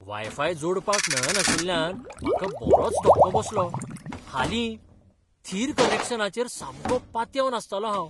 Wifi जोडपाक मेळनाशिल्ल्यान म्हाका बरोच धक्को बसलो. हालीं, थीर कनॅक्शनाचेर सामको पातयेवन आसतालों हांव.